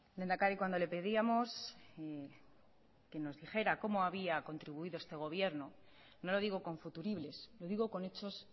lehendakari cuando le pedíamos que nos dijera cómo había contribuido este gobierno no lo digo con futuribles lo digo con hechos